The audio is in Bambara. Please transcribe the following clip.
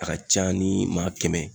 A ka ca ni maa kɛmɛ ye